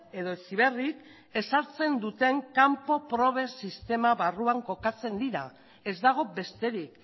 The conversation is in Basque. edo heziberrik ezartzen duten kanpo proben sistema barruan kokatzen dira ez dago besterik